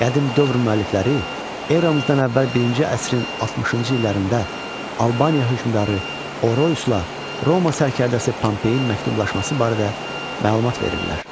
Qədim dövr müəllifləri eramızdan əvvəl birinci əsrin 60-cı illərində Albaniya hökmdarı Oroyusla Roma sərkərdəsi Pompeyin məktublaşması barədə məlumat verirlər.